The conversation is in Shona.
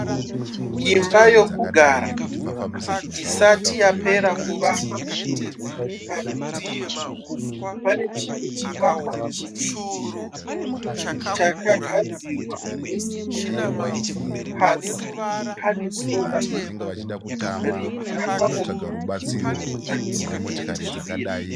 Imba yekugara isati yapera kuvakwa. Parutivi pane chimwe chivakwa chidiki chakagadzigwa nesemende. Pasi pane sora rimwe rakaoma rimwe rakasvibira.